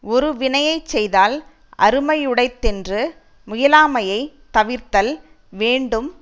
ஒரு வினையை செய்தல் அருமையுடைத்தென்று முயலாமையைத் தவிர்தல் வேண்டும்